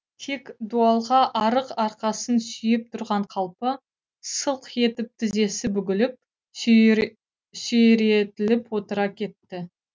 тек дуалға арық арқасын сүйеп тұрған қалпы сылқ етіп тізесі бүгіліп сүйретіліп отыра кетті